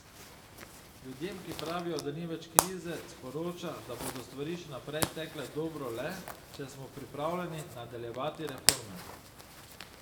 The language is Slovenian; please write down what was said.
Ljudem, ki pravijo, da ni več krize, sporoča, da bodo stvari še naprej tekle dobro le, če smo pripravljeni nadaljevati reforme.